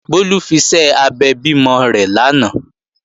Bólú fiṣẹ́ abẹ bímọ rẹ̀ lánàá